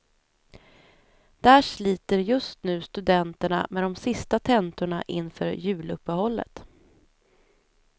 Där sliter just nu studenterna med de sista tentorna inför juluppehållet.